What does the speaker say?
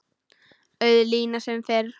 Auð lína sem fyrr.